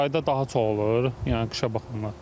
Yayda daha çox olur, yəni qışa baxanda.